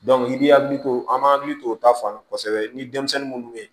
i b'i hakili to an b'an hakili t'o ta fan kosɛbɛ ni denmisɛnnin munnu bɛ ye